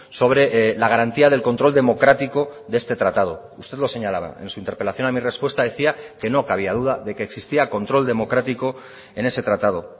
sobre la garantía del control democrático de este tratado usted lo señalaba en su interpelación a mi respuesta decía que no cabía duda de que existía control democrático en ese tratado